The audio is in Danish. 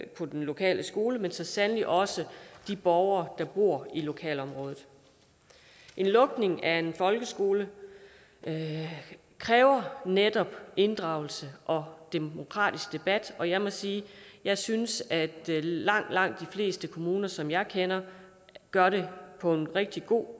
på den lokale skole men så sandelig også de borgere der bor i lokalområdet en lukning af en folkeskole kræver netop inddragelse og demokratisk debat og jeg må sige at jeg synes at langt langt de fleste kommuner som jeg kender gør det på en rigtig god